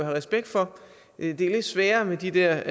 respekt for det er lidt sværere med de der